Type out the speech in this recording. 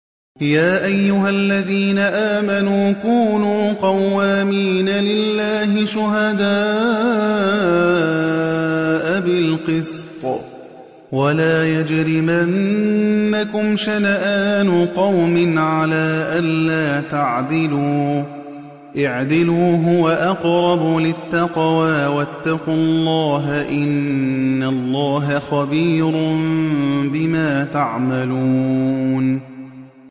يَا أَيُّهَا الَّذِينَ آمَنُوا كُونُوا قَوَّامِينَ لِلَّهِ شُهَدَاءَ بِالْقِسْطِ ۖ وَلَا يَجْرِمَنَّكُمْ شَنَآنُ قَوْمٍ عَلَىٰ أَلَّا تَعْدِلُوا ۚ اعْدِلُوا هُوَ أَقْرَبُ لِلتَّقْوَىٰ ۖ وَاتَّقُوا اللَّهَ ۚ إِنَّ اللَّهَ خَبِيرٌ بِمَا تَعْمَلُونَ